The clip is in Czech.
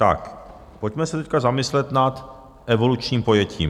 Tak pojďme se teď zamyslet nad evolučním pojetím.